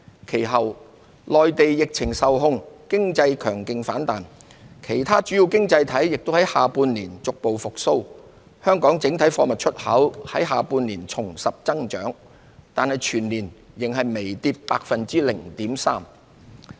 其後，內地疫情受控，經濟強勁反彈，其他主要經濟體亦在下半年逐步復蘇，香港整體貨物出口在下半年重拾增長，但全年計仍微跌 0.3%。